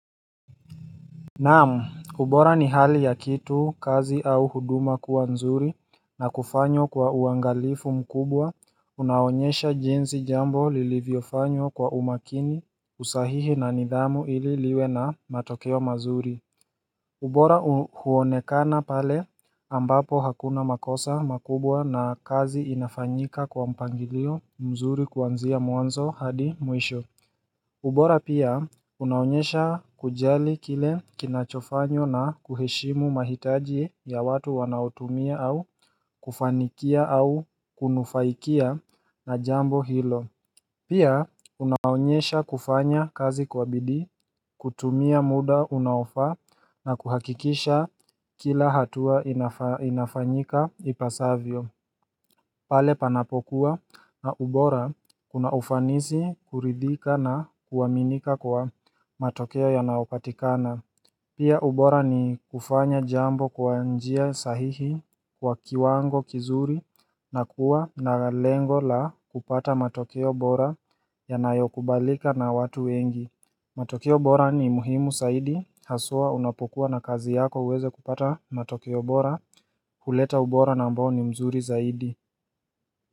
Naamu, ubora ni hali ya kitu, kazi au huduma kuaa nzuri na kufanyo kwa uangalifu mkubwa unaonyesha jinsi jambo lilivyofanywa kwa umakini, usahihi na nidhamu ili liwe na matokeo mazuri ubora huonekana pale ambapo hakuna makosa makubwa na kazi inafanyika kwa mpangilio mzuri kuanzia mwanzo hadi mwisho ubora pia unaonyesha kujali kile kinachofanywa na kuheshimu mahitaji ya watu wanaotumia au kufanikia au kunufaikia na jambo hilo Pia unaonyesha kufanya kazi kwa bidii, kutumia muda unaofaa na kuhakikisha kila hatua inafanyika ipasavyo pale panapokuwa na ubora kuna ufanisi, kuridhika na kuaminika kwa matokeo yanayopatikana. Pia ubora ni kufanya jambo kwa njia sahihi kwa kiwango kizuri na kuwa na lengo la kupata matokeo ubora yanayokubalika na watu wengi. Matokeo bora ni muhimu saidi haswa unapokuwa na kazi yako uweze kupata matokeo bora huleta ubora na ambao ni mzuri zaidi.